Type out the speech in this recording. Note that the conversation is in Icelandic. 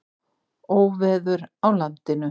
Óveður á landinu